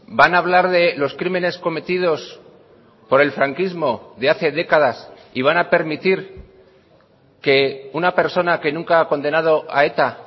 van a hablar de los crímenes cometidos por el franquismo de hace décadas y van a permitir que una persona que nunca ha condenado a eta